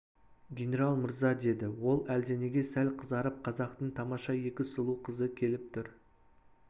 генерал мырза деді ол әлденеге сәл қызарып қазақтың тамаша екі сұлу қызы келіп тұр